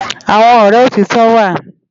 Awòn òrè ótitò wá